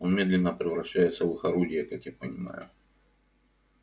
он медленно превращается в их орудие как я понимаю